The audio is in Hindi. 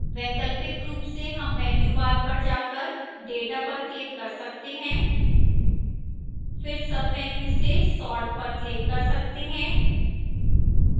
वैकल्पिक रूप से हम menu bar पर जाकर data पर click कर सकते हैं फिर menu से sort पर click कर सकते हैं